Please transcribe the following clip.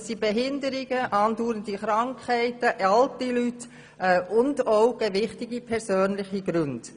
Es handelt sich um Behinderungen, andauernde Krankheiten, im Fall von alten Leuten sowie bei Vorliegen gewichtiger persönlicher Gründe.